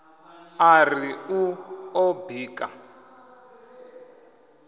a ri u ḓo bika